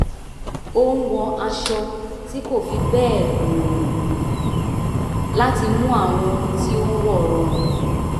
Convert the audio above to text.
ó ń wọ aṣọ tí kò fi bẹ́ẹ̀ gbòòrò láti mú àwọn ohun tí ó ń wọ̀ rọrùn